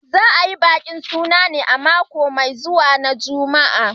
Za a yi bikin suna ne a mako mai zuwa na Juma'a